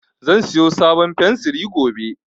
Zan siyo sabon fensiri gobe